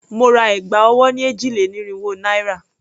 Mo ra ẹ̀gbà ọwọ́ ni èjì-lé-ní-irínwó naira.